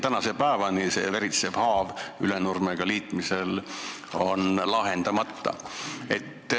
Tänase päevani on veritsev haav, mis tekkis Ülenurmega liitmisel, lahtine.